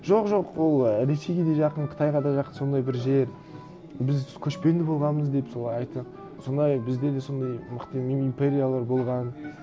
жоқ жоқ ол ресейге де жақын қытайға да жақын сондай бір жер біз көшпенді болғанбыз деп солай айтып сондай бізде де сондай мықты мини империялар болған